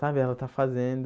Sabe, ela está fazendo.